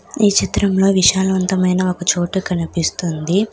ఈ చిత్రంలో విశాలవంతమైన ఒక చోటు కనిపిస్తుంది.